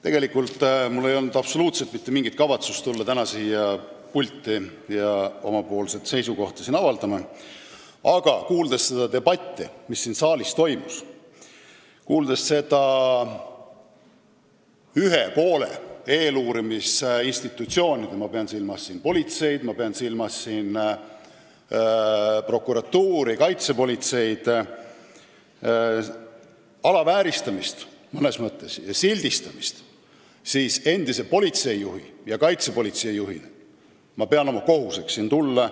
Tegelikult ei olnud mul absoluutselt mitte mingit kavatsust tulla täna siia pulti oma seisukohta avaldama, aga kuuldes seda debatti, mis siin saalis toimus, ja ühe poole ehk eeluurimisinstitutsioonide – ma pean silmas politseid, prokuratuuri ja kaitsepolitseid – mõnes mõttes alavääristamist ja sildistamist, pidasin ma endise politseijuhi ja kaitsepolitsei juhina oma kohuseks siia tulla.